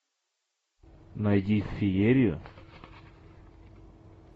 найди феерию